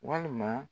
Walima